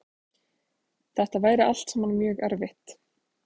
Þetta væri allt saman mjög erfitt